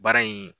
Baara in